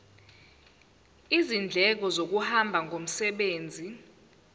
izindleko zokuhamba ngomsebenzi